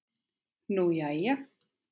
Nú, jæja.